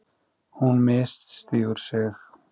Hún misstígur sig.